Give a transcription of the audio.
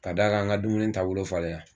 Ka d'a kan an ka dumuni taabolo falen la.